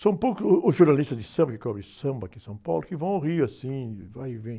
São poucos os jornalistas de samba, que cobre samba aqui em São Paulo, que vão ao Rio assim, vai e vem.